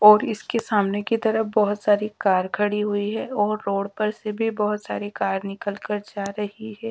और इसके सामने की तरफ बहोत सारी कार खड़ी हुई है और रोड पर से भी बहोत सारी कार निकल कर जा रही है।